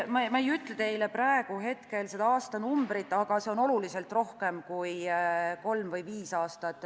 Ei, ma ei ütle teile praegu seda aastanumbrit, aga see on oluliselt rohkem kui kolm või viis aastat.